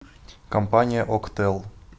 компания октэл